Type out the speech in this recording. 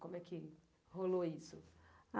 Como é que rolou isso?